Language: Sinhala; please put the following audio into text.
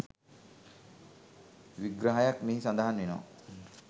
විග්‍රහයක් මෙහි සඳහන් වෙනවා